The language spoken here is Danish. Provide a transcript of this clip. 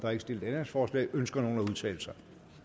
er ikke stillet ændringsforslag ønsker nogen at udtale sig